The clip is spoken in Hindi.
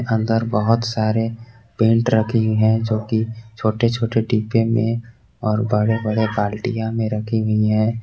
अंदर बहोत सारे पेंट रखी है जो कि छोटे छोटे डिब्बे में और बड़े बड़े बाल्टियां में रखी गई हैं।